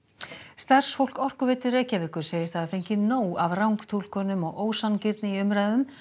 starfsfólk Orkuveitu Reykjavíkur segist hafa fengið nóg af rangtúlkunum og ósanngirni í umræðum